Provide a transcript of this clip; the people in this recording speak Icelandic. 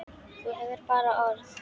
Þú hefur bara orð.